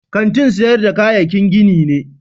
Kantin siyan kayaki gini ne.